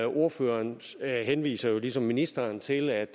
ordføreren henviser jo ligesom ministeren til at